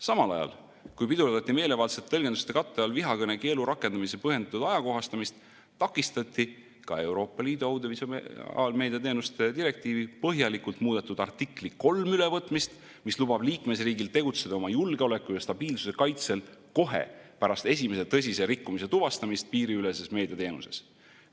Samal ajal, kui pidurdati meelevaldsete tõlgenduste katte all vihakõnekeelu rakendamise põhjendatud ajakohastamist, takistati ka Euroopa Liidu audiovisuaalmeedia teenuste direktiivi põhjalikult muudetud artikli 3 ülevõtmist, mis lubab liikmesriigil tegutseda oma julgeoleku ja stabiilsuse kaitsel kohe pärast esimese tõsise rikkumise tuvastamist piiriüleses meediateenuses.